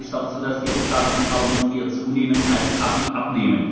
In Wirklichkeit ist es aber so, dass die Aufgaben des Parlaments eher zunehmen als abnehmen.